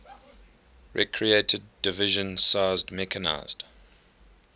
recreated division sized mechanized